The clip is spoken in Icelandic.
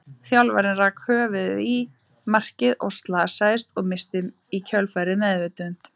Þjálfarinn rak höfuðið í markið og slasaðist, og missti í kjölfarið meðvitund.